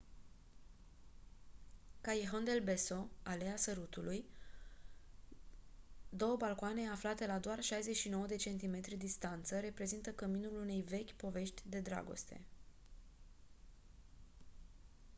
callejon del beso aleea sărutului. două balcoane aflate la doar 69 de centimetri distanță reprezintă căminul unei vechi povești de dragoste